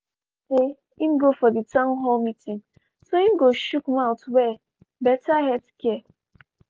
e make sure say im go for di town hall meeting so im go shook mouth well better healthcare.